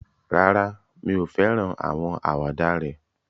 Rárá, mi ò fẹ́ràn àwọn àwàdà rẹ̀